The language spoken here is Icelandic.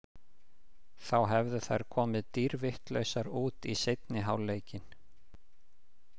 Þá hefðu þær komið dýrvitlausar út í seinni hálfleikinn.